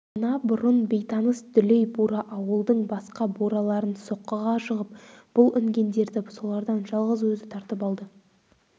мына бұрын бейтаныс дүлей бура ауылдың басқа бураларын соққыға жығып бұл інгендерді солардан жалғыз өзі тартып алды